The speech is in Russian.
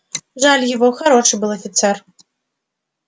жаль его хороший был офицер